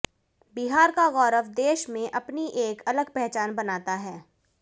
बिहार का गौरव देष में अपनी एक अलग पहचान बनाता है